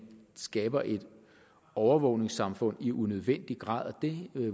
skaber et overvågningssamfund i unødvendig grad det